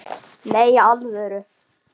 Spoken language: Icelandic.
Nei, í alvöru